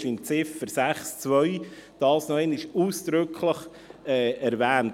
Dort ist das unter Ziffer 6.2 noch einmal ausdrücklich erwähnt.